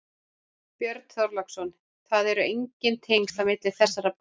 Björn Þorláksson: Það eru engin tengsl á milli þessara bæja?